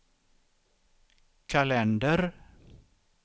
kalender